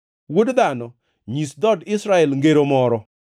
“Wuod dhano, nyis dhood Israel ngero moro.